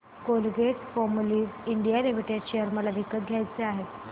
Colgate Palmolive India limited share मला विकत घ्यायचे आहेत